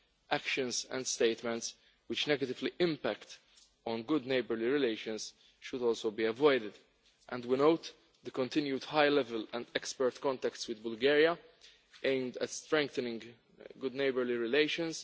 Actions and statements which negatively impact on good neighbourly relations should also be avoided, and we note the continued high level and expert contacts with Bulgaria aimed at strengthening good neighbourly relations.